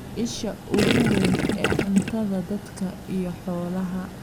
Isha ugu weyn ee cuntada dadka iyo xoolaha.